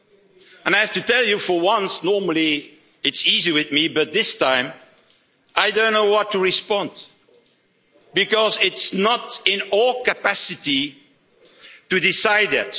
And I have to tell you, for once normally it's easy for me but this time I don't know what to respond, because it's not in our capacity to decide